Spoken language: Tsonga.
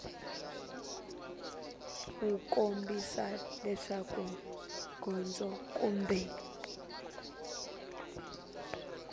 wu kombisa leswaku gondzo kumbe